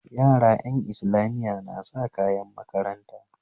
Yara ƴan islamiya na sa kayan makaranta